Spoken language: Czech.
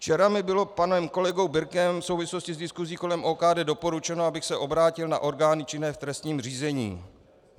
Včera mi bylo panem kolegou Birkem v souvislosti s diskusí kolem OKD doporučeno, abych se obrátil na orgány činné v trestním řízení.